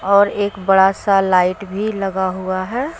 और एक बड़ा सा लाइट भी लगा हुआ है।